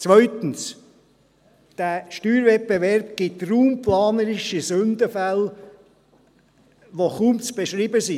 Zweitens: Dieser Steuerwettbewerb ergibt raumplanerische Sündenfälle, die kaum zu beschreiben sind.